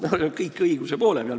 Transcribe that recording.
Me kõik oleme õiguse poole peal.